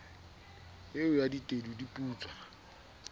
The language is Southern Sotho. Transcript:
eo ya tedu di putswa